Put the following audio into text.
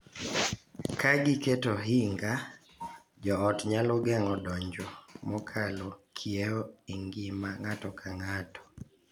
Ka giketo ohinga, jo ot nyalo geng’o donjo mokalo kiewo e ngima ng’ato ka ng’ato,